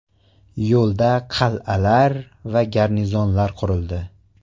Yo‘lda qal’alar va garnizonlar qurildi.